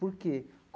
Por quê?